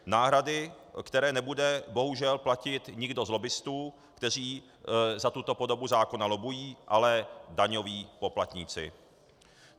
Náhrady, které nebude bohužel platit nikdo z lobbistů, kteří za tuto podobu zákona lobbují, ale daňoví poplatníci.